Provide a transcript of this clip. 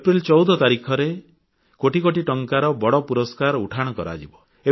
ଅପ୍ରେଲ 14 ତାରିଖରେ କୋଟି କୋଟି ଟଙ୍କାର ବଡ଼ ପୁରସ୍କାର ଉଠାଣ କରାଯିବ